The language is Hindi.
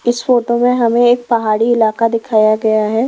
इस फोटो में हमें एक पहाड़ी इलाका दिखाया गया है।